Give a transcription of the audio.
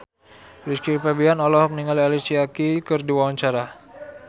Rizky Febian olohok ningali Alicia Keys keur diwawancara